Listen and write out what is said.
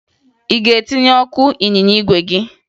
Ị ga-etinye ọkụ n'ịnyịnya igwe gị?